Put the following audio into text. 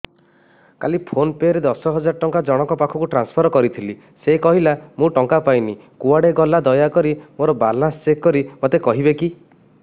କାଲି PhonePe ରେ ଦଶ ହଜାର ଟଙ୍କା ଜଣକ ପାଖକୁ ଟ୍ରାନ୍ସଫର୍ କରିଥିଲି ସେ କହିଲା ମୁଁ ଟଙ୍କା ପାଇନି କୁଆଡେ ଗଲା ଦୟାକରି ମୋର ବାଲାନ୍ସ ଚେକ୍ କରି ମୋତେ କହିବେ କି